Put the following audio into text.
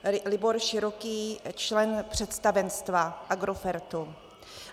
Libor Široký - člen představenstva Agrofertu.